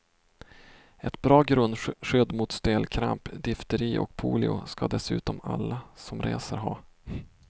Ett bra grundskydd mot stelkramp, difteri och polio ska dessutom alla som reser ha.